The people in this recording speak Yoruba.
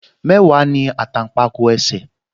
Mẹ́wàá ní àtàǹpàkò ẹsẹ̀